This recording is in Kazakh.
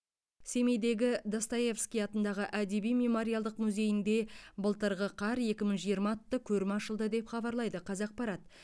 семейдегі достоевский атындағы әдеби мемориалдық музейінде былтырғы қар екі мың жиырма атты көрме ашылды деп хабарлайды қазақпарат